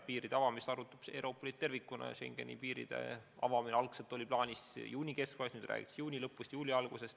Piiride avamist arutab Euroopa Liit tervikuna ja Schengeni piiride avamine algselt oli plaanis juuni keskpaigas, nüüd räägitakse juuni lõpust – juuli algusest.